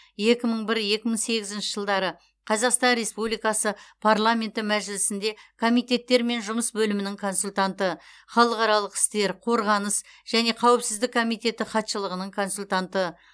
екі мың бір екі мың сегізінші жылдары қазақстан республикасы парламенті мәжілісінде комитеттермен жұмыс бөлімінің консультанты халықаралық істер қорғаныс және қауіпсіздік комитеті хатшылығының консультанты